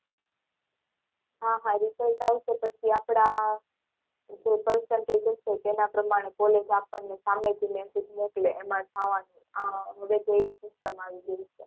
હા હા result આવશે પછી આપડા જે percentage હશે તેના પ્રમાણે કોલેજ આપણને સામે થી message મોકલે એમાં જવાનું હવે તો એવી system આવી ગઈ છે.